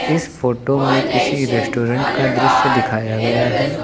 इस फोटो में किसी रेस्टोरेंट का दृश्य दिखाया गया है।